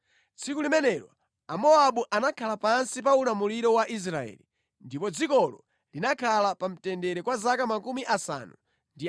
Tsiku limenelo Amowabu anakhala pansi pa ulamuliro wa Israeli, ndipo dzikolo linakhala pa mtendere kwa zaka 80.